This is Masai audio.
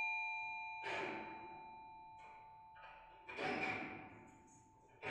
etejo intiwuo menyor ena nkoitoi ngejuk nalakieki ropiyani e sukul amu kegol